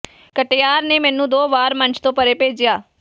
ਕਟਿਆਰ ਨੇ ਮੈਨੂੰ ਦੋ ਵਾਰ ਮੰਚ ਤੋਂ ਪਰੇ ਭੇਜਿਆ